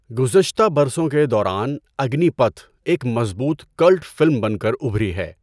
گذشتہ برسوں کے دوران اگنی پتھ ایک مضبوط کلٹ فلم بن کر ابھری ہے۔